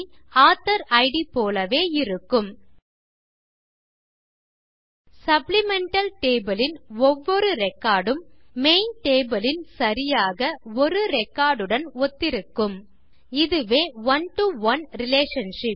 author it போலவே இருக்கும் supplemental table ன் ஒவ்வொரு ரெக்கார்ட் உம் மெயின் டேபிள் ன் சரியாக ஒரு ரெக்கார்ட் உடன் ஒத்திருக்கும் இதுவே one to ஒனே ரிலேஷன்ஷிப்